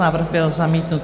Návrh byl zamítnut.